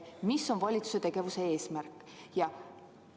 Mis on valitsuse tegevuse eesmärk?